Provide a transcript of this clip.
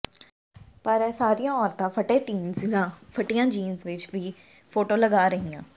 ਪਰ ਇਹ ਸਾਰੀਆਂ ਔਰਤਾਂ ਫਟੇ ਡੀਨਜ਼ ਜਾਂ ਫਟੀਆਂ ਜੀਨਸ ਵਿੱਚ ਕੀ ਫੋਟੋ ਲਗਾ ਰਹੀਆਂ